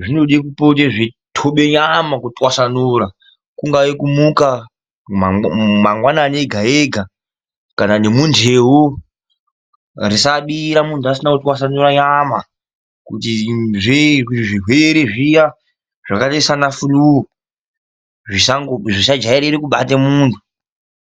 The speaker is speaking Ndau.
zvinoda kupote zveithobe nyama kutwasanura, kungave kumuka mangwanani ega ega kana nemunteu, risabira muntu asina kutwasanura nyama kuti zvirwere zviya zvakaita saana flue zvisajairira kubata muntu.